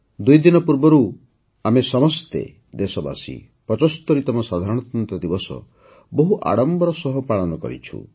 ଦୁଇଦିନ ପୂର୍ବରୁ ଆମେ ସମସ୍ତେ ଦେଶବାସୀ ୭୫ତମ ସାଧାରଣତନ୍ତ୍ର ଦିବସ ବହୁ ଆଡମ୍ବର ସହ ପାଳନ କରିଛୁ